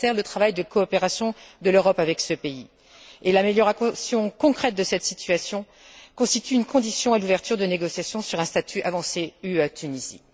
Elle altère le travail de coopération de l'Europe avec ce pays, et l'amélioration concrète de cette situation constitue une condition à l'ouverture de négociations sur un statut avancé UE Tunisie.